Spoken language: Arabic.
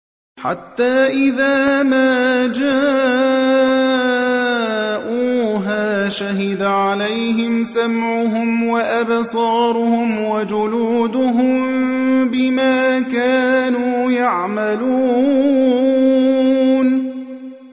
حَتَّىٰ إِذَا مَا جَاءُوهَا شَهِدَ عَلَيْهِمْ سَمْعُهُمْ وَأَبْصَارُهُمْ وَجُلُودُهُم بِمَا كَانُوا يَعْمَلُونَ